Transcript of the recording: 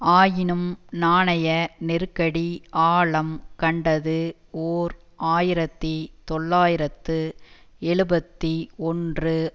ஆயினும் நாணய நெருக்கடி ஆழம் கண்டது ஓர் ஆயிரத்தி தொள்ளாயிரத்து எழுபத்தி ஒன்று